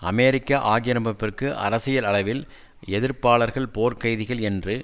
அமெரிக்க ஆக்கிரமிப்பிற்கு அரசியல் அளவில் எதிர்ப்பாளர்கள் போர்க்கைதிகள் என்று